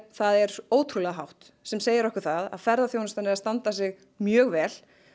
er ótrúlega hátt sem segir okkur að ferðaþjónustan er að standa sig mjög vel